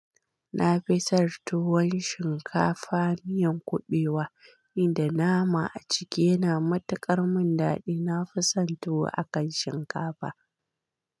Na fi sar tuwan shinkafa miyan kuɓewa, inda nama a ciki yana matukar mun daɗi. Na fi son tuwa akan shinkafa.